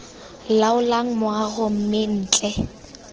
laolang moago mme b ntle